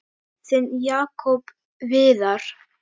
Þinn Jakob Viðar.